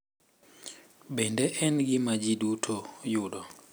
Bende en gima ji duto yudo,